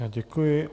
Já děkuji.